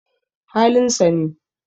Halin sa ne